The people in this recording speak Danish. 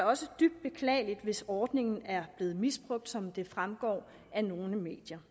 også dybt beklageligt hvis ordningen er blevet misbrugt som det fremgår af nogle medier